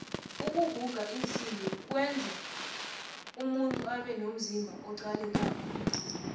ukuguga iinsimbi kwenza umuntu abenomzimba oqalekako